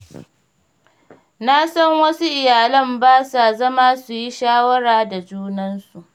Na san wasu iyalan ba sa zama su yi shawara da junansu.